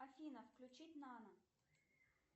афина включить нано